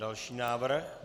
Další návrh?